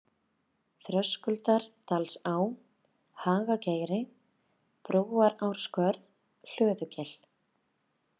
Þröskuldardalsá, Hagageiri, Brúarárskörð, Hlöðugil